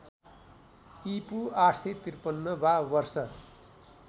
ईपू ८५३ वा वर्ष